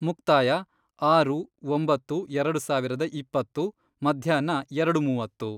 ಮುಕ್ತಾಯ, ಆರು, ಒಂಬತ್ತು, ಎರಡು ಸಾವಿರದ ಇಪ್ಪತ್ತು, ಮಧ್ಯಾಹ್ನ ಎರಡು ಮೂವತ್ತು.